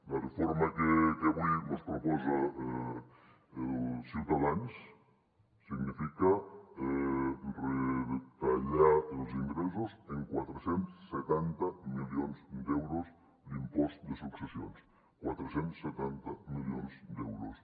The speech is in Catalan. la reforma que avui ens proposa ciutadans significa retallar els ingressos en quatre cents i setanta milions d’euros l’impost de successions quatre cents i setanta milions d’euros